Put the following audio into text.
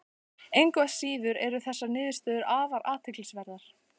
Engu að síður eru þessar niðurstöður afar athyglisverðar.